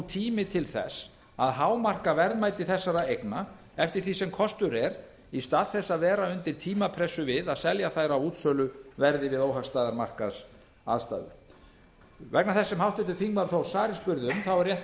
tími til þess að hámarka verðmæti þessara eigna eftir því sem kostur er í stað þess að vera undir tímapressu við að selja þær á útsöluverði við óhagstæðar markaðsaðstæður vegna þess sem háttvirtur þingmaður þór ári spurði um er rétt að